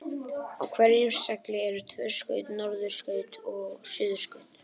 Á hverjum segli eru tvö skaut, norðurskaut og suðurskaut.